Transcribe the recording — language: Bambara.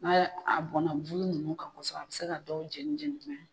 N'a ye a bɔnna bulu nunnu kan kɔsɛbɛ a bɛ se ka dɔw jeni jeni jumɛn